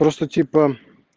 просто типа